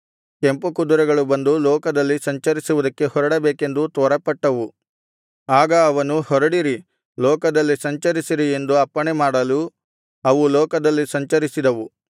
ಕೆಂಪು ಕುದುರೆಗಳು ಬಂದು ಲೋಕದಲ್ಲಿ ಸಂಚರಿಸುವುದಕ್ಕೆ ಹೊರಡಬೇಕೆಂದು ತ್ವರೆಪಟ್ಟವು ಆಗ ಅವನು ಹೊರಡಿರಿ ಲೋಕದಲ್ಲಿ ಸಂಚರಿಸಿರಿ ಎಂದು ಅಪ್ಪಣೆ ಮಾಡಲು ಅವು ಲೋಕದಲ್ಲಿ ಸಂಚರಿಸಿದವು